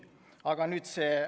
Aga nüüd see ...